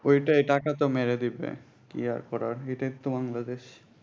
ওইটাই টাকা তো মেরে দেবে কি আর করার এটাই তো বাংলাদেশ